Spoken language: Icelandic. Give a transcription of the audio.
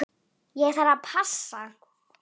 Ég þarf að passa.